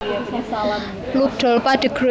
Ludolpha de Groot